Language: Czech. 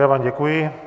Já vám děkuji.